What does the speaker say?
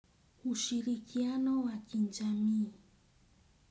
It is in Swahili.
Ushirikiano wa kijamii.